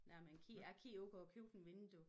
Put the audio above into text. Når man kig jeg kiggede ud af køkkenvinduet